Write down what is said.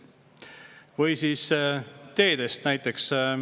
Või siis teed näiteks.